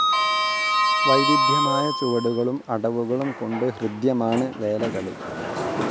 വൈവിധ്യമായ ചുവടുകളും അടവുകളും കൊണ്ട് ഹൃദ്യമാണ് വേലകളി.